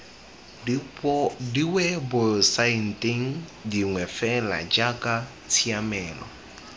diwebosaeteng dingwe fela jaaka tshiamelo